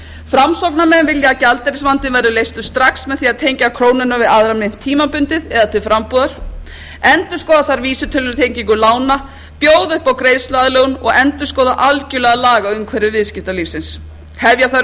framsóknarmenn vilja að gjaldeyrisvandinn verði leystur strax með því að tengja krónuna við aðra mynt tímabundið eða til frambúðar endurskoða þarf vísitölutengingu lána bjóða upp á greiðsluaðlögun og endurskoða algerlega lagaumhverfi viðskiptalífsins hefja þarf